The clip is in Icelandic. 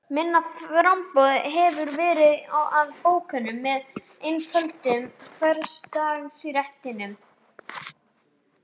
Minna framboð hefur verið af bókum með einföldum hversdagsréttum.